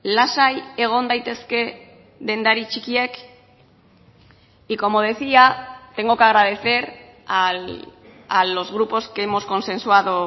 lasai egon daitezke dendari txikiek y como decía tengo que agradecer a los grupos que hemos consensuado